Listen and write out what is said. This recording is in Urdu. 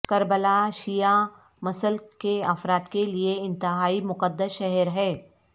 کربلا شیعہ مسلک کے افراد کے لیئے انتہائی مقدس شہر ہے